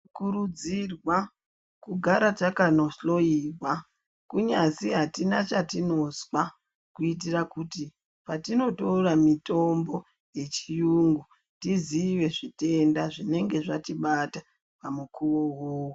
Kurudzirwa kugara takanohloiwa. Kunyazi atina chatinozwa kuitira kut patinotora mitombo yechiyungu, tizive zvitenda zvinenge zvatibata pamukuwo uwowo.